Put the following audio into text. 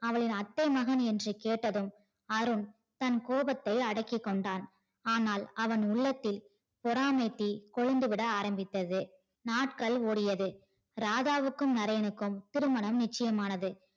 அவளின் அத்தை மகன் என்று கேட்டதும் அருண் தன் கோபத்தை அடக்கிக் கொண்டார் ஆனால் அவன் உள்ளத்தில் பொறாமை தீ கொழுந்து விட ஆரம்பித்தது நாட்கள் ஓடியது ராதாவுக்கும் நரேனுகும் திருமணம் நிச்சயமானது